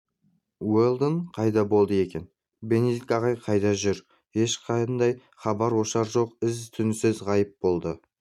уэлдон қайда болды екен бенедикт ағай қайда жүр ешқандай хабар-ошар жоқ із-түзсіз ғайып болды